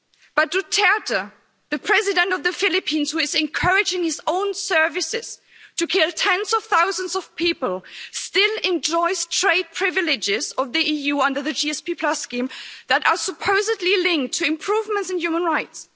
But Duterte, the president of the Philippines, who is encouraging his own services to kill tens of thousands of people, still enjoys EU trade privileges the under the GSP Plus scheme that are supposedly linked to improvements in human rights.